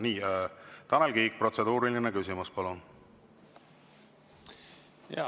Nii, Tanel Kiik, protseduuriline küsimus, palun!